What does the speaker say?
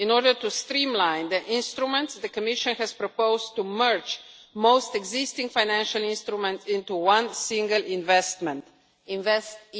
In order to streamline the instruments, the Commission has proposed to merge most existing financial instruments into one single investment InvestEU.